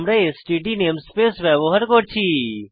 আমরা STD namespace ব্যবহার করেছি